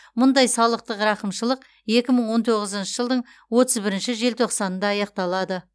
мұндай салықтық рақымшылық екі мың он тоғзыншы жылдың отыз бірінші желтоқсанында аяқталады